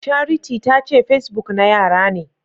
Charity tace facebook na yara ne.